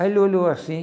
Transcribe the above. Aí ele olhou assim...